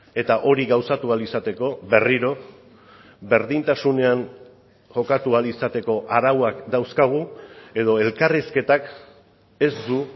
eta hori gauzatu ahal izateko berriro berdintasunean jokatu ahal izateko arauak dauzkagu edo elkarrizketak ez du